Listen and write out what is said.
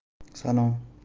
цена